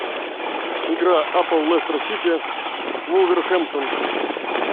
игра апл лестер сити вулверхэмптон